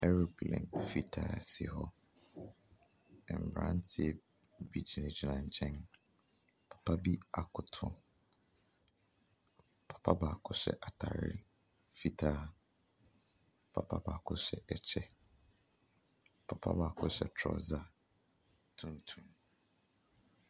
Plane fitaa si hɔ. Mmeranteɛ bi gyinagyina nkyɛn. Papa bi akoto. Papa baako hyɛ atareɛ fitaa. Papa baako hyɛ kyɛ. Papa baako hyɛ trouser tuntum.